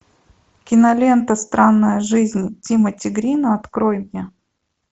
кинолента странная жизни тимати грина открой мне